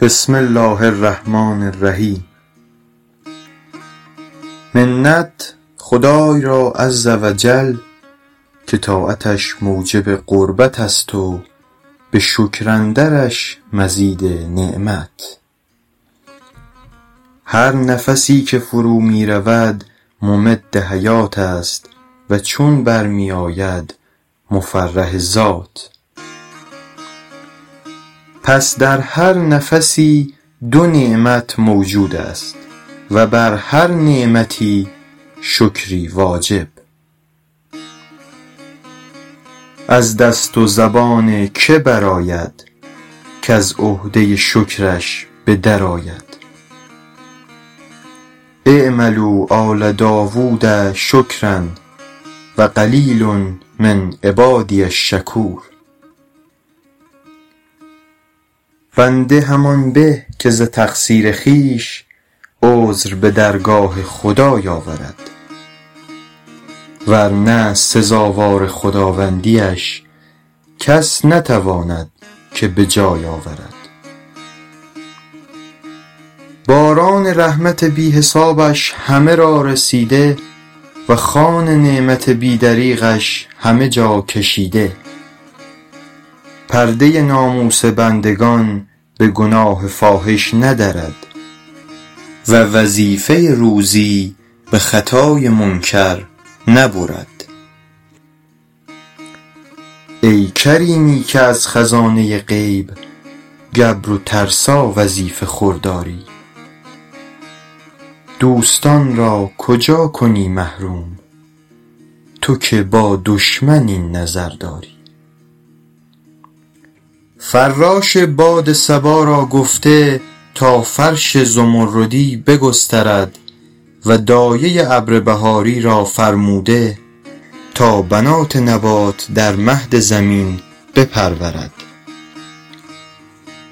بسم الله الرحمن الرحیم منت خدای را عز و جل که طاعتش موجب قربت است و به شکر اندرش مزید نعمت هر نفسی که فرو می رود ممد حیات است و چون بر می آید مفرح ذات پس در هر نفسی دو نعمت موجود است و بر هر نعمتی شکری واجب از دست و زبان که برآید کز عهده شکرش به در آید اعملوا آل داود شکرا و قلیل من عبادی الشکور بنده همان به که ز تقصیر خویش عذر به درگاه خدای آورد ور نه سزاوار خداوندی اش کس نتواند که به جای آورد باران رحمت بی حسابش همه را رسیده و خوان نعمت بی دریغش همه جا کشیده پرده ناموس بندگان به گناه فاحش ندرد و وظیفه روزی به خطای منکر نبرد ای کریمی که از خزانه غیب گبر و ترسا وظیفه خور داری دوستان را کجا کنی محروم تو که با دشمن این نظر داری فراش باد صبا را گفته تا فرش زمردی بگسترد و دایه ابر بهاری را فرموده تا بنات نبات در مهد زمین بپرورد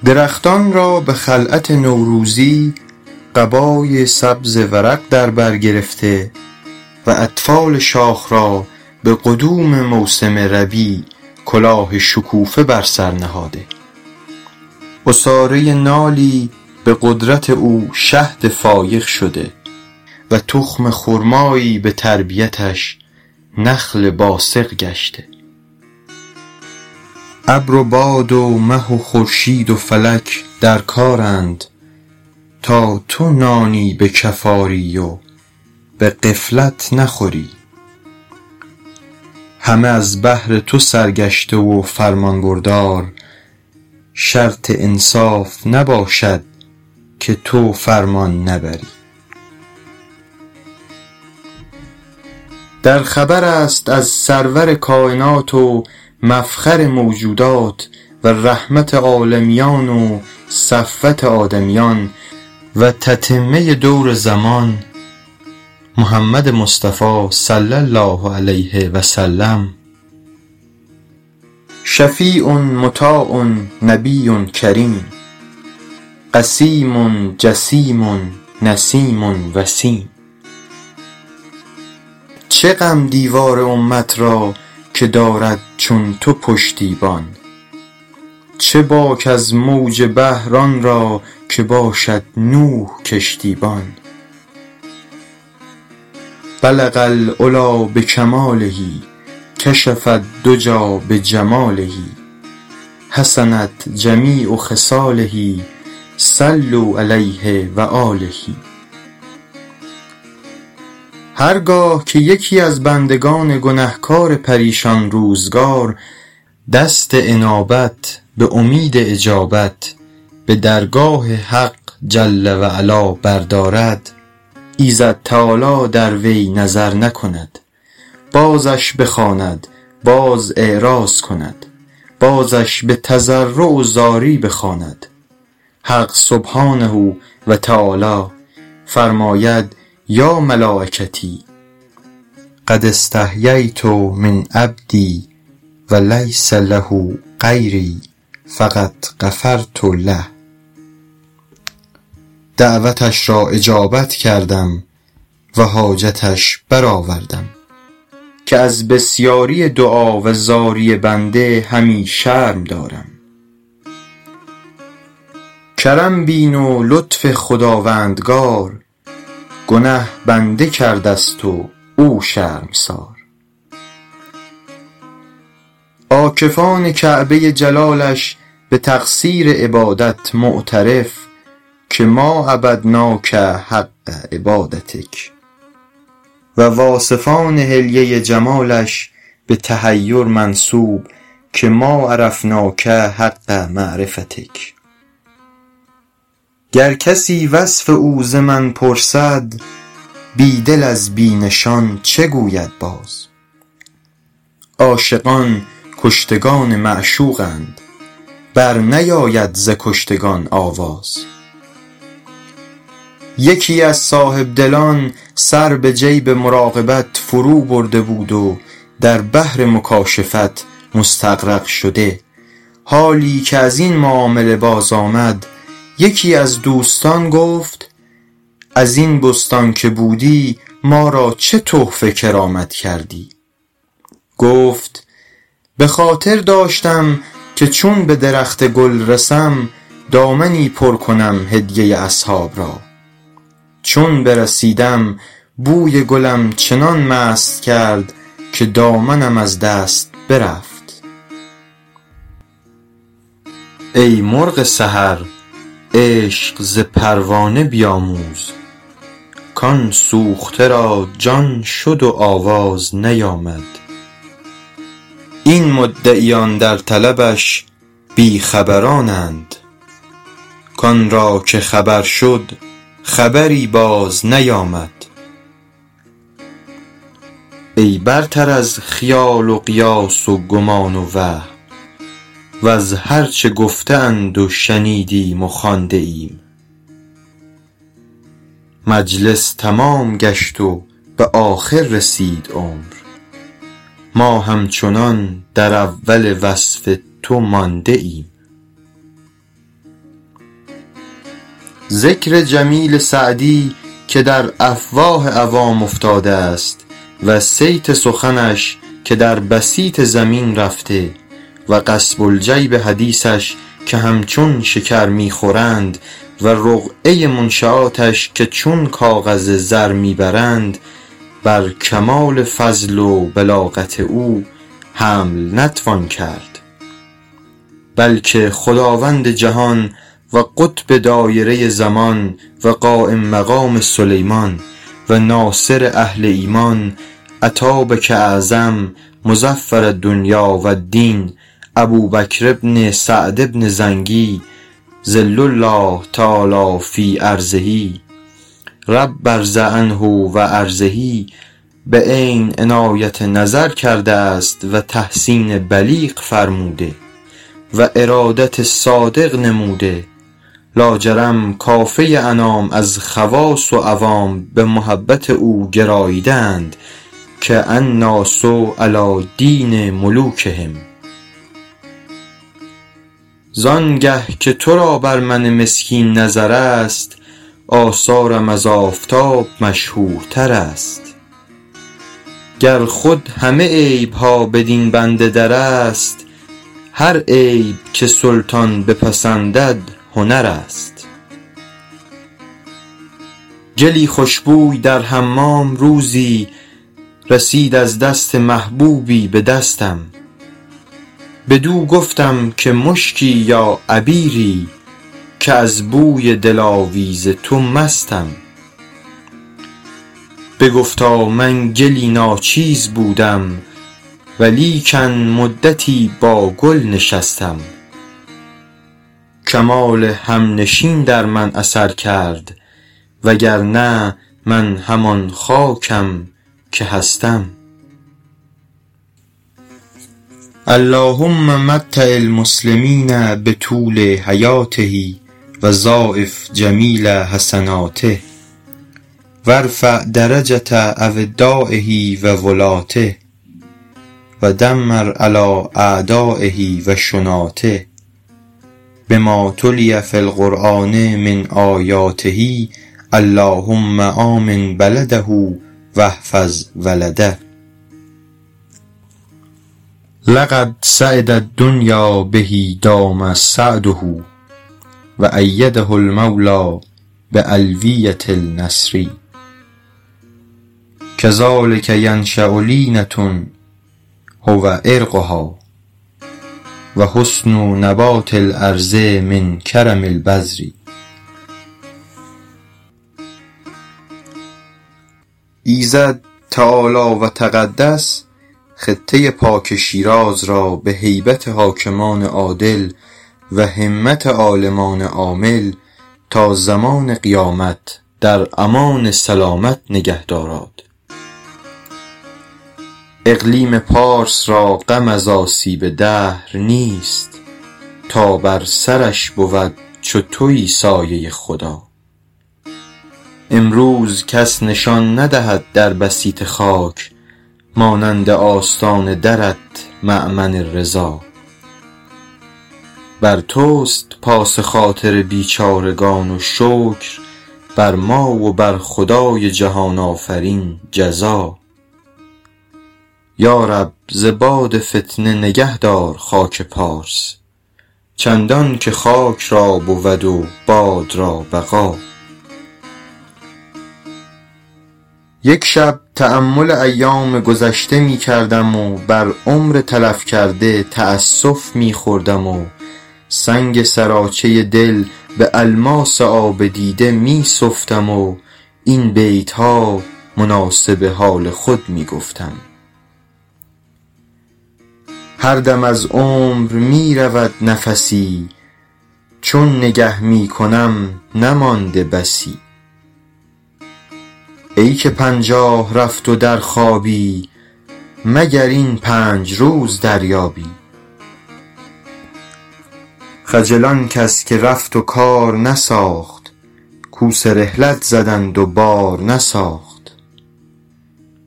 درختان را به خلعت نوروزی قبای سبز ورق در بر گرفته و اطفال شاخ را به قدوم موسم ربیع کلاه شکوفه بر سر نهاده عصاره نالی به قدرت او شهد فایق شده و تخم خرمایی به تربیتش نخل باسق گشته ابر و باد و مه و خورشید و فلک در کارند تا تو نانی به کف آری و به غفلت نخوری همه از بهر تو سرگشته و فرمانبردار شرط انصاف نباشد که تو فرمان نبری در خبر است از سرور کاینات و مفخر موجودات و رحمت عالمیان و صفوت آدمیان و تتمه دور زمان محمد مصطفی صلی الله علیه و سلم شفیع مطاع نبی کریم قسیم جسیم نسیم وسیم چه غم دیوار امت را که دارد چون تو پشتیبان چه باک از موج بحر آن را که باشد نوح کشتی بان بلغ العلیٰ بکماله کشف الدجیٰ بجماله حسنت جمیع خصاله صلوا علیه و آله هر گاه که یکی از بندگان گنهکار پریشان روزگار دست انابت به امید اجابت به درگاه حق جل و علا بردارد ایزد تعالی در وی نظر نکند بازش بخواند باز اعراض کند بازش به تضرع و زاری بخواند حق سبحانه و تعالی فرماید یا ملایکتی قد استحییت من عبدی و لیس له غیری فقد غفرت له دعوتش را اجابت کردم و حاجتش برآوردم که از بسیاری دعا و زاری بنده همی شرم دارم کرم بین و لطف خداوندگار گنه بنده کرده ست و او شرمسار عاکفان کعبه جلالش به تقصیر عبادت معترف که ما عبدناک حق عبادتک و واصفان حلیه جمالش به تحیر منسوب که ما عرفناک حق معرفتک گر کسی وصف او ز من پرسد بی دل از بی نشان چه گوید باز عاشقان کشتگان معشوقند بر نیاید ز کشتگان آواز یکی از صاحبدلان سر به جیب مراقبت فرو برده بود و در بحر مکاشفت مستغرق شده حالی که از این معامله باز آمد یکی از دوستان گفت از این بستان که بودی ما را چه تحفه کرامت کردی گفت به خاطر داشتم که چون به درخت گل رسم دامنی پر کنم هدیه اصحاب را چون برسیدم بوی گلم چنان مست کرد که دامنم از دست برفت ای مرغ سحر عشق ز پروانه بیاموز کآن سوخته را جان شد و آواز نیامد این مدعیان در طلبش بی خبرانند کآن را که خبر شد خبری باز نیامد ای برتر از خیال و قیاس و گمان و وهم وز هر چه گفته اند و شنیدیم و خوانده ایم مجلس تمام گشت و به آخر رسید عمر ما همچنان در اول وصف تو مانده ایم ذکر جمیل سعدی که در افواه عوام افتاده است و صیت سخنش که در بسیط زمین رفته و قصب الجیب حدیثش که همچون شکر می خورند و رقعه منشیاتش که چون کاغذ زر می برند بر کمال فضل و بلاغت او حمل نتوان کرد بلکه خداوند جهان و قطب دایره زمان و قایم مقام سلیمان و ناصر اهل ایمان اتابک اعظم مظفر الدنیا و الدین ابوبکر بن سعد بن زنگی ظل الله تعالیٰ في أرضه رب ارض عنه و أرضه به عین عنایت نظر کرده است و تحسین بلیغ فرموده و ارادت صادق نموده لاجرم کافه انام از خواص و عوام به محبت او گراییده اند که الناس علیٰ دین ملوکهم زآن گه که تو را بر من مسکین نظر است آثارم از آفتاب مشهورتر است گر خود همه عیب ها بدین بنده در است هر عیب که سلطان بپسندد هنر است گلی خوش بوی در حمام روزی رسید از دست محبوبی به دستم بدو گفتم که مشکی یا عبیری که از بوی دلاویز تو مستم بگفتا من گلی ناچیز بودم و لیکن مدتی با گل نشستم کمال همنشین در من اثر کرد وگرنه من همان خاکم که هستم اللهم متع المسلمین بطول حیاته و ضاعف جمیل حسناته و ارفع درجة أودایه و ولاته و دمر علیٰ أعدایه و شناته بما تلي في القرآن من آیاته اللهم آمن بلده و احفظ ولده لقد سعد الدنیا به دام سعده و أیده المولیٰ بألویة النصر کذلک ینشأ لینة هو عرقها و حسن نبات الأرض من کرم البذر ایزد تعالی و تقدس خطه پاک شیراز را به هیبت حاکمان عادل و همت عالمان عامل تا زمان قیامت در امان سلامت نگه داراد اقلیم پارس را غم از آسیب دهر نیست تا بر سرش بود چو تویی سایه خدا امروز کس نشان ندهد در بسیط خاک مانند آستان درت مأمن رضا بر توست پاس خاطر بیچارگان و شکر بر ما و بر خدای جهان آفرین جزا یا رب ز باد فتنه نگهدار خاک پارس چندان که خاک را بود و باد را بقا یک شب تأمل ایام گذشته می کردم و بر عمر تلف کرده تأسف می خوردم و سنگ سراچه دل به الماس آب دیده می سفتم و این بیت ها مناسب حال خود می گفتم هر دم از عمر می رود نفسی چون نگه می کنم نمانده بسی ای که پنجاه رفت و در خوابی مگر این پنج روز دریابی خجل آن کس که رفت و کار نساخت کوس رحلت زدند و بار نساخت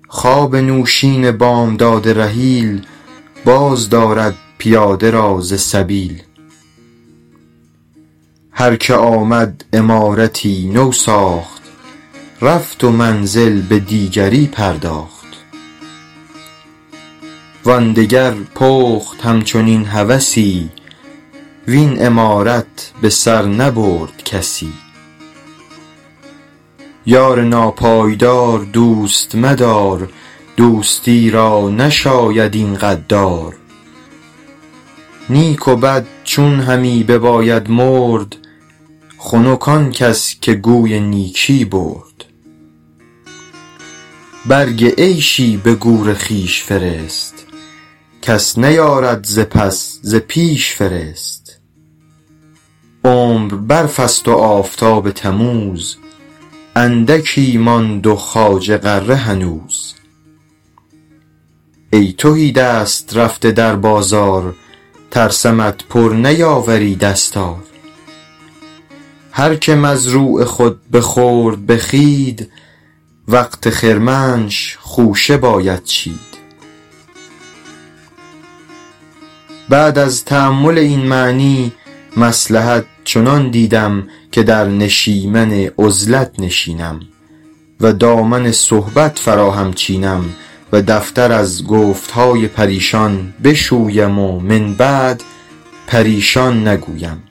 خواب نوشین بامداد رحیل باز دارد پیاده را ز سبیل هر که آمد عمارتی نو ساخت رفت و منزل به دیگری پرداخت وآن دگر پخت همچنین هوسی وین عمارت به سر نبرد کسی یار ناپایدار دوست مدار دوستی را نشاید این غدار نیک و بد چون همی بباید مرد خنک آن کس که گوی نیکی برد برگ عیشی به گور خویش فرست کس نیارد ز پس ز پیش فرست عمر برف است و آفتاب تموز اندکی ماند و خواجه غره هنوز ای تهی دست رفته در بازار ترسمت پر نیاوری دستار هر که مزروع خود بخورد به خوید وقت خرمنش خوشه باید چید بعد از تأمل این معنی مصلحت چنان دیدم که در نشیمن عزلت نشینم و دامن صحبت فراهم چینم و دفتر از گفت های پریشان بشویم و من بعد پریشان نگویم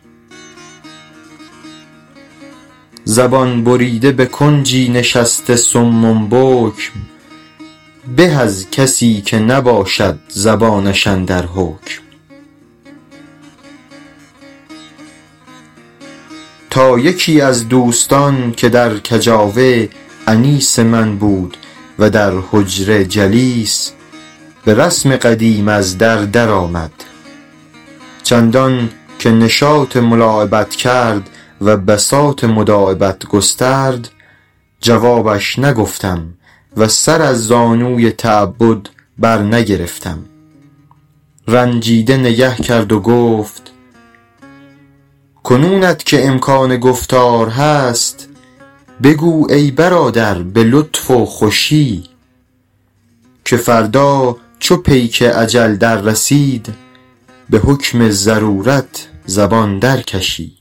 زبان بریده به کنجی نشسته صم بکم به از کسی که نباشد زبانش اندر حکم تا یکی از دوستان که در کجاوه انیس من بود و در حجره جلیس به رسم قدیم از در در آمد چندان که نشاط ملاعبت کرد و بساط مداعبت گسترد جوابش نگفتم و سر از زانوی تعبد بر نگرفتم رنجیده نگه کرد و گفت کنونت که امکان گفتار هست بگو ای برادر به لطف و خوشی که فردا چو پیک اجل در رسید به حکم ضرورت زبان در کشی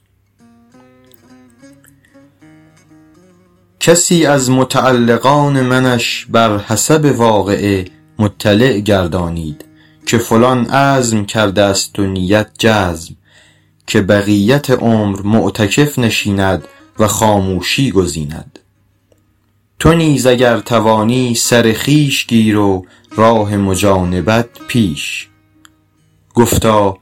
کسی از متعلقان منش بر حسب واقعه مطلع گردانید که فلان عزم کرده است و نیت جزم که بقیت عمر معتکف نشیند و خاموشی گزیند تو نیز اگر توانی سر خویش گیر و راه مجانبت پیش گفتا